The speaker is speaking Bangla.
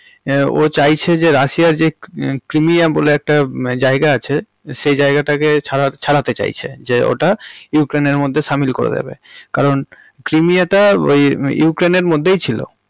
ও চাইছে যে রাশিয়া এর যে ক্রিমিয়া বলে মানে একটা জায়গা আছে সেই জায়গাটাকে ছাড়াতে চাইছে যে ওটা ইউক্রেইন্ এর মধ্যে সামিল করে দেবে কারণ ক্রিমিয়াটা ওই ইউক্রেইন্ এর মধ্যেই ছিল।